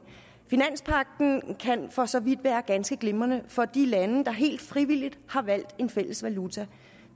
finanspagten kan for så vidt være ganske glimrende for de lande der helt frivilligt har valgt en fælles valuta